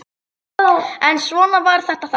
En svona var þetta þá.